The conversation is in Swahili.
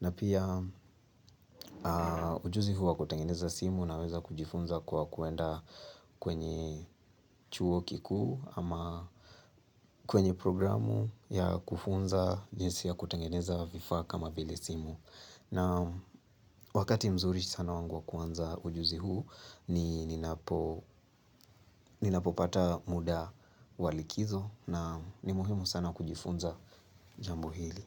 na pia ujuzi huu wa kutengeneza simu naweza kujifunza kwa kuenda kwenye chuo kikuu ama kwenye programu ya kufunza jinsi ya kutengeneza vifaa kama vile simu na wakati mzuri sana wangu wa kuanza ujuzi huu ni ninapo ninapopata muda wa likizo na ni muhimu sana kujifunza jambo hili.